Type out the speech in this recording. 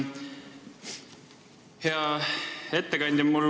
Hea ettekandja!